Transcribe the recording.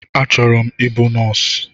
A chọrọ m ịbụ nọsi